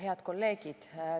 Head kolleegid!